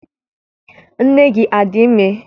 Nne gị adị ime?